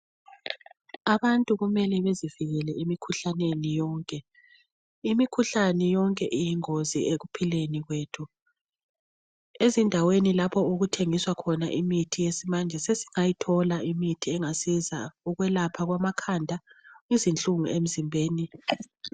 Abantu kumele bezivikele emikhuhlaneni yonke. Imikhuhlane yonke iyingozi ekuphileni kwethu. Ezindaweni lapho okuthengiswa khona imithi yesimanje sesingayithola imithi engasiza ukwelapha amakhanda izinhlungu emzimbeni.